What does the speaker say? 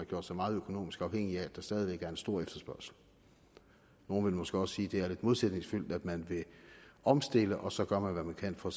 gjort så meget økonomisk afhængig af at der stadig væk er en stor efterspørgsel nogle vil måske også sige at det er lidt modsætningsfyldt at man vil omstille og så gør hvad man kan for